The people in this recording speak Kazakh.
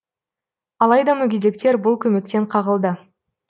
алайда мүгедектер бұл көмектен қағылды